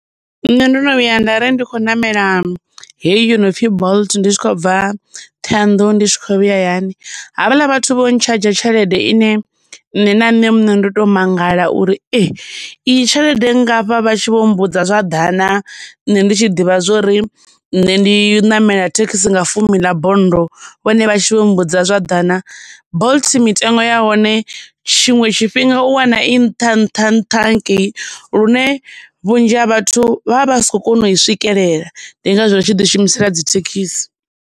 Nṋe ndo no vhuya nda ri ndi kho ṋamela heyi yo nopfhi bolt ndi tshi khou bva Ṱhoyandou ndi tshi kho vhuya hayani, havhala vhathu vho ntshadzha tshelede ine nṋe na nṋe muṋe ndo to mangala uri ee, iyi tshelede nngafha vha tshi vho mbudza zwa ḓana nṋe ndi tshi ḓivha zwori nṋe ndi namela thekhisi nga fumi ḽa bonndo, vhone vha tshi vho mbudza zwa ḓana. Bolt mitengo ya hone tshiṅwe tshifhinga u wana i nṱha nṱha nṱha hangei lune vhunzhi ha vhathu vha vha si khou kona u i swikelela ndi ngazwo vha tshi ḓi shumisela dzi thekhisi.